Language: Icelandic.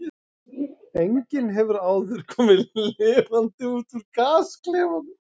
Enginn hefur áður komið lifandi út úr gasklefanum.